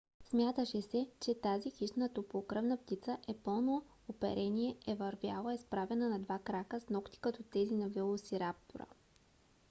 смяташе се че тази хищна топлокръвна птица с пълно оперение е вървяла изправена на два крака с нокти като тези на велосираптора